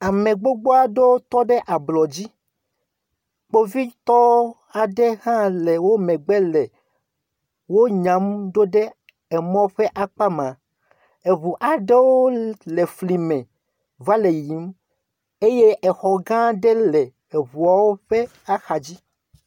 Ame gbogbo aɖewo tɔ ɖe ablɔ dzi. Kpovitɔ aɖewo hã le wo megbe le wo nya ɖoɖe emɔ ƒe akpa ma. Eŋu aɖwo le fli me va le yiyim eye exɔ gã aɖe le eŋuawo ƒe axa dzi.